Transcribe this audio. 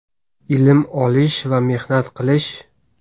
ilm olish va mehnat qilish.